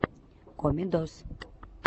комедоз